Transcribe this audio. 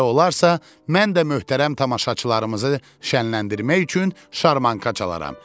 belə olarsa, mən də möhtərəm tamaşaçılarımızı şənləndirmək üçün şarmanka çalaram.